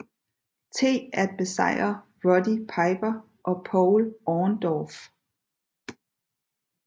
T at besejre Roddy Piper og Paul Orndorff